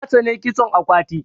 Na tsani kitson akwati.